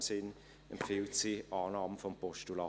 In diesem Sinn empfiehlt sie Annahme des Postulats.